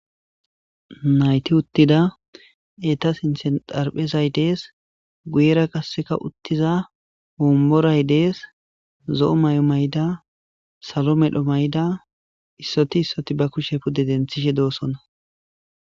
nayti uttida eta s inthen darphezay dees guyera qasseka uttiza homboray dees zo7o may7o mayda salo medho mayda issoti issoti ba kushe pude denthishe doosona